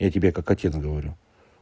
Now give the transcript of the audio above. я тебе как отец говорю